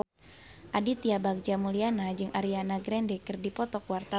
Aditya Bagja Mulyana jeung Ariana Grande keur dipoto ku wartawan